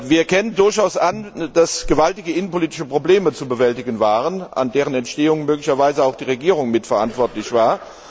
Wir erkennen durchaus an, dass gewaltige innenpolitische Probleme zu bewältigen waren, für deren Entstehung möglicherweise auch die Regierung mitverantwortlich war.